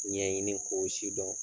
Ɲɛɲini k'o si dɔn